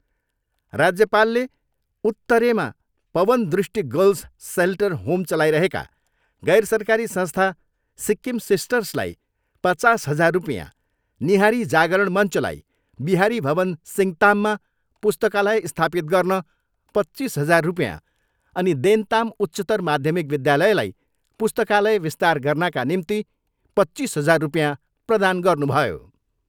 राज्यपालले उत्तरेमा Pawan Drishti girls shelter home चलाइरहेका गैरसरकारी संस्था सिक्किम सिस्टर्सलाई पचास हजार रुपियाँ, निहारी जागरण मञ्चलाई बिहारी भवन सिङ्ताममा पुस्तकालय स्थापित गर्न पच्चिस हजार रुपियाँ अनि देन्ताम उच्चत्तर माध्यमिक विद्यालयलाई पुस्तकालय विस्तार गर्नाका निम्ति पच्चिस हजार रुपियाँ प्रदान गर्नुभयो।